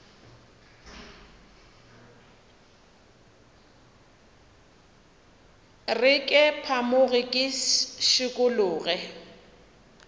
re ke phamoge ke šikologe